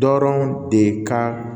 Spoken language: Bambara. Dɔrɔn de ka